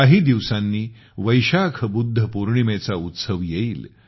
काही दिवसांनी वैशाख बुद्ध पौर्णिमेचा उत्सव येईल